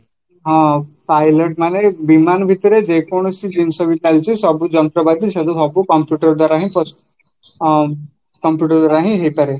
ହଁ, pilot ମାନେ ବିମାନ ଭିତରେ ଯେକୌଣସି ଜିନିଷବି ଚାଲିଛି ସବୁ ଯନ୍ତ୍ରପାତି ସବୁ computer ଦ୍ଵାରାହିଁ ପଶୁଛି ହଁ computer ଦ୍ଵାରା ହିଁ ହେଇପାରେ